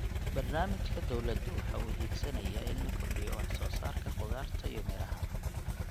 Barnaamijka dawladdu waxa uu higsanayaa in la kordhiyo wax soo saarka khudaarta iyo miraha.